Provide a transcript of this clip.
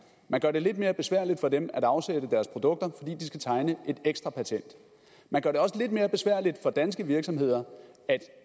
man gør det lidt mere besværligt for dem at afsætte deres produkter fordi de skal tegne et ekstra patent man gør det også lidt mere besværligt for danske virksomheder at